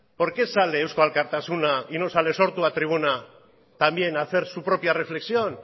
por qué sale eusko alkartasuna y no sale sortu a la tribuna también a hacer su propia reflexión